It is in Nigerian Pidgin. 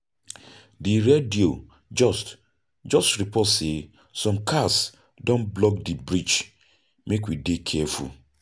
The radio just just report sey some cars don block di bridge, make we dey careful.